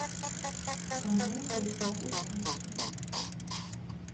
канал в гостях у сказки